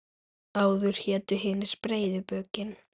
Áður hétu hinir breiðu bökin.